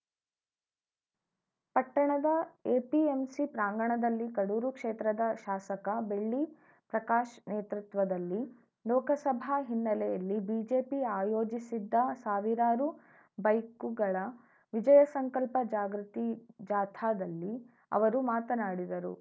ಪಟ್ಟಣದ ಎಪಿಎಂಸಿ ಪ್ರಾಂಗಣದಲ್ಲಿ ಕಡೂರು ಕ್ಷೇತ್ರದ ಶಾಸಕ ಬೆಳ್ಳಿ ಪ್ರಕಾಶ್‌ ನೇತೃತ್ವದಲ್ಲಿ ಲೋಕಸಭಾ ಹಿನ್ನೆಲೆಯಲ್ಲಿ ಬಿಜೆಪಿ ಆಯೋಜಿಸಿದ್ದ ಸಾವಿರಾರು ಬೈಕುಗಳ ವಿಜಯ ಸಂಕಲ್ಪ ಜಾಗೃತಿ ಜಾಥಾದಲ್ಲಿ ಅವರು ಮಾತನಾಡಿದರು